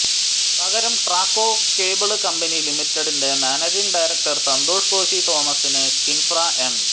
പകരം Traco cable company ലിമിറ്റഡിന്റെ managing director Santhosh Koshy തോമസിന് കിന്ഫ്ര എം